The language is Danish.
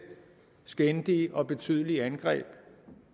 skændige og betydelige angreb